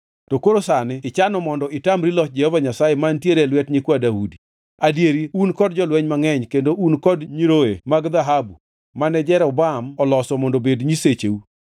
“To koro sani ichano mondo itamri loch Jehova Nyasaye mantiere e lwet nyikwa Daudi. Adieri un kod jolweny mangʼeny kendo un kod nyiroye mag dhahabu mane Jeroboam oloso mondo obed nyisecheu.